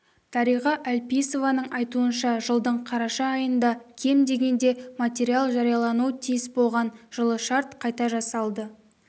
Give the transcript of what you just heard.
дариға әлпейісованың айтуынша жылдың қараша айында кем дегенде материал жариялану тиіс болған жылы шарт қайта жасалды